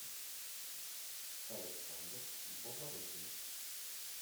александр бабарыкин